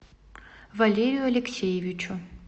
валерию алексеевичу